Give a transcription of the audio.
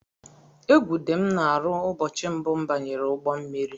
Égwu dị m n'arụ ụbọchị mbụ m banyere ụgbọ mmiri.